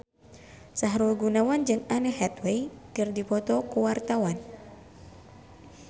Sahrul Gunawan jeung Anne Hathaway keur dipoto ku wartawan